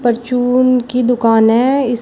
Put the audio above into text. परचून की दुकान है इस--